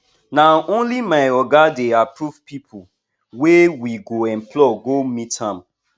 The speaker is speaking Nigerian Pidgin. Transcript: na only my oga dey approve pipu wey we go employ go meet am